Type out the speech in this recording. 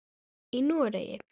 Í Noregi